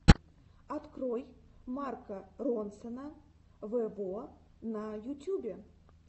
открой марка ронсона вево на ютубе